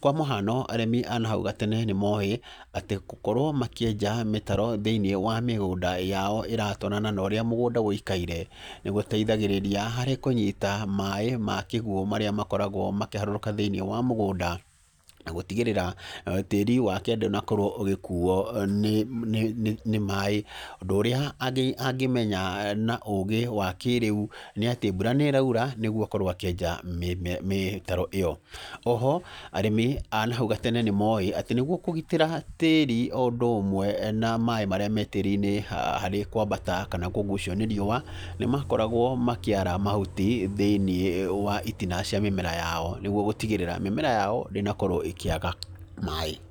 Kwa mũhano arĩmi a na hau gatene nĩ mooĩ atĩ gũkorwo makĩenja mĩtaro thĩ-inĩ wa mĩgũnda yao ĩratwarana na ũrĩa mũgũnda ũikaire, nĩ gũteithagĩrĩria harĩ kũnyita maaĩ ma kĩguũ marĩa makoragwo makĩharũrũka thĩ-inĩ wa mũgũnda, na gũtigĩrĩra tĩri wake ndũnakorwo ũgĩkuo nĩ maaĩ. Ũndũ ũrĩa angĩmenya na ũũgĩ wa kĩrĩu nĩ atĩ mbura nĩ ĩraura nĩguo akorwo akĩenja mĩtaro ĩyo. Oho arĩmi a na hau gatene nĩ moĩ atĩ nĩguo kũgitĩra tĩri o ũndũ ũmwe na maaĩ marĩa me tĩri-inĩ harĩ kwambata kana kũgucio nĩ rĩũa, nĩ makoragwo makĩara mahuti thĩ-inĩ wa tĩri wa mĩmera yao nĩguo gũtigĩrĩra mĩmera yao ndĩnakorwo ĩkĩaga maaĩ.